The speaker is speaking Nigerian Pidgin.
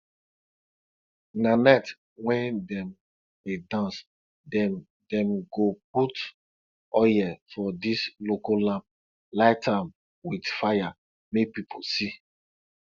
na night wen dem dey dance dem dem go put oil for dis local lamp light am with fire make people see